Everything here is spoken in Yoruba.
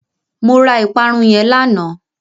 Mo ra ìparun yẹn lánàá.